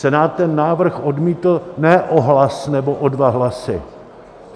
Senát ten návrh odmítl ne o hlas nebo o dva hlasy.